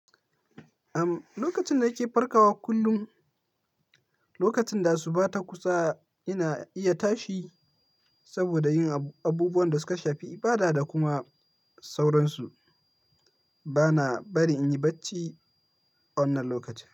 Uhm, lokacin da kike farkawa kullum, lokacin da asuba ta kusa ina iya tashi saboda yin abubuwan da suka shafi ibada da kuma sauransu. Bana bari in yi bacci wannan lokacin.